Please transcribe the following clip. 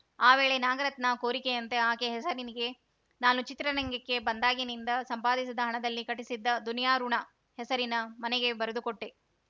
ಆ ವೇಳೆ ನಾಗರತ್ನ ಕೋರಿಕೆಯಂತೆ ಆಕೆ ಹೆಸರಿಗೆ ನಾನು ಚಿತ್ರರಂಗಕ್ಕೆ ಬಂದಾಗಿನಿಂದ ಸಂಪಾದಿಸಿದ ಹಣದಲ್ಲಿ ಕಟ್ಟಿಸಿದ್ದ ದುನಿಯಾ ಋುಣ ಹೆಸರಿನ ಮನೆಗೆ ಬರೆದುಕೊಟ್ಟೆ